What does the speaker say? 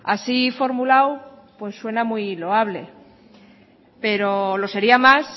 así formulado suena muy loable pero lo sería más